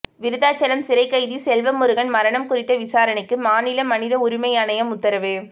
விருத்தாச்சலம் சிறைக்கைதி செல்வமுருகன் மரணம் குறித்த விசாரணைக்கு மாநில மனித உரிமை ஆணையம் உத்தரவு